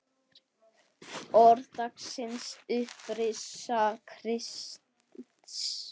Orð dagsins Upprisa Krists